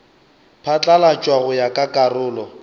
phatlalatšwa go ya ka karolo